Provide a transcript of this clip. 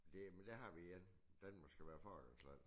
Det men der har vi igen Danmark skal være forgangsland